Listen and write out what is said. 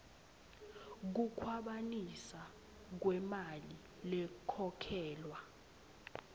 kukhwabanisa kwemali lekhokhelwa